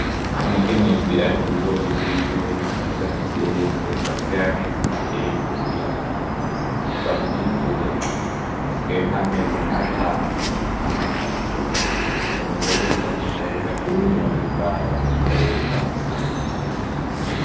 Umukenyezi ari mubigori vyiwe bisa nkivyeze, hasigaye amezi makeyi kugira bavyimbure. Hasigaye nk'amezi atanu canke atatu, umugore biraboneka yuko anezerewe ahimbawe ariko arerekana umurima wiwe.